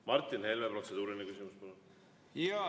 Martin Helme, protseduuriline küsimus, palun!